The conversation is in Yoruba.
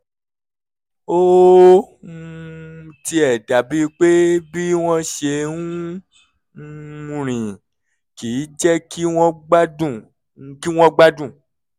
ó um tiẹ̀ dàbíi pé bí wọ́n ṣe ń um rìn kì í jẹ́ kí wọ́n gbádùn kí wọ́n gbádùn